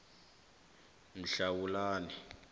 mhlawulani